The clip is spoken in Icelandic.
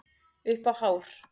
Upp á hár.